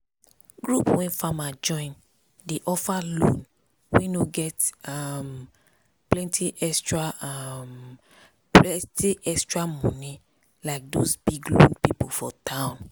group wey farmers join dey offer loan wey no get um plenty extra um plenty extra moni like those big loan people for town.